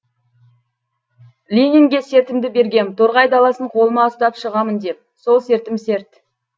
ленинге сертімді бергем торғай даласын қолыма ұстап шығамын деп сол сертім серт